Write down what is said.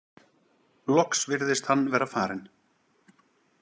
Loks virtist hann vera farinn.